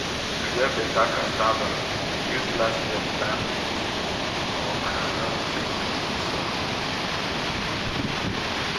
to get beta cassava use last year plant beans or groundnut take feed the soil.